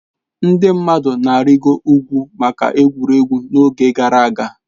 Ndị mmadụ na-arịịgo ugwu maka egwuregwu n'oge gara aga.